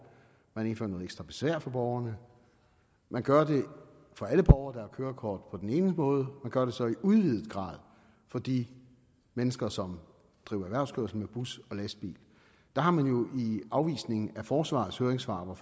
man indfører noget ekstra besvær for borgerne man gør det for alle borgere der har kørekort på den ene måde og man gør det så i udvidet grad for de mennesker som driver erhvervskørsel med bus og lastbil der har man jo i afvisningen af forsvarets høringssvar hvor